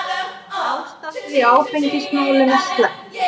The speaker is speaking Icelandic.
Ástandið í áfengismálum er slæmt.